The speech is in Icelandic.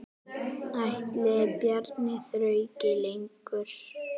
Ætli Bjarni þrauki lengur?